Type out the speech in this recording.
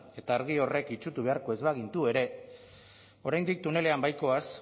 eta argi horrek itsutu beharko ez bagintu ere oraindik tunelean baikoaz